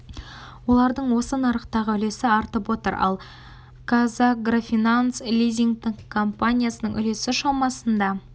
олардың осы нарықтағы үлесі артып отыр ал казагрофинанс лизингтік компаниясының үлесі шамасында